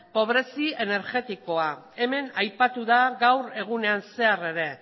pobrezi energetikoa hemen aipatu da gaur egunean zehar ere